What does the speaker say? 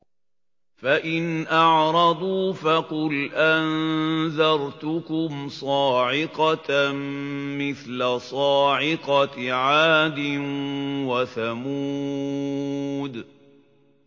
فَإِنْ أَعْرَضُوا فَقُلْ أَنذَرْتُكُمْ صَاعِقَةً مِّثْلَ صَاعِقَةِ عَادٍ وَثَمُودَ